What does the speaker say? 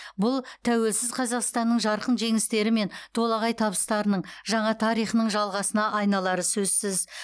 бұл тәуелсіз қазақстанның жарқын жеңістері мен толағай табыстарының жаңа тарихының жалғасына айналары сөзсіз